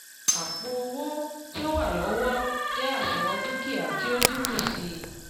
àpò owó tí ó wà lọ́wọ́ jẹ́ àṣùwọ̀n dúkìá tí ó n dínkù sí i